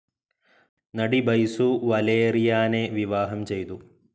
നടി ബൈസു വലേറിയാനെ വിവാഹം ചെയ്തു.